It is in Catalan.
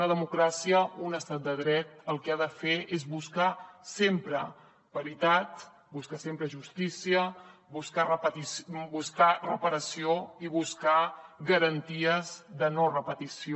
una democràcia un estat de dret el que ha de fer és buscar sempre paritat buscar sempre justícia buscar reparació i buscar garanties de no repetició